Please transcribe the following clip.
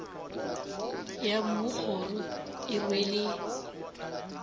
ya mmu kgoro e rwele